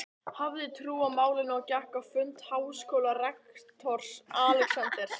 hafði trú á málinu og gekk á fund háskólarektors, Alexanders